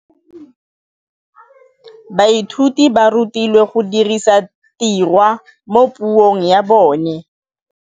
Baithuti ba rutilwe go dirisa tirwa mo puong ya bone.